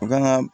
U kan ka